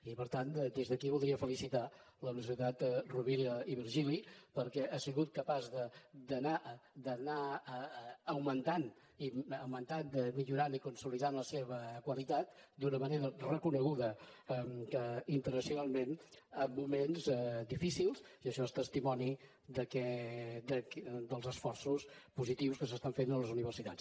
i per tant des d’aquí voldria felicitar la universitat rovira i virgili perquè ha sigut capaç d’anar augmentant millorant i consolidant la seva qualitat d’una manera reconeguda internacionalment en moments difícils i això és testimoni dels esforços positius que s’estan fent a les universitats